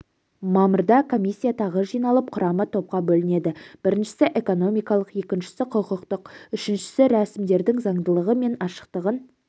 мамырда комиссия тағы жиналып құрамы топқа бөлінеді біріншісі экономикалық екіншісі құқықтық үшіншісі рәсімдердің заңдылығы мен ашықтығын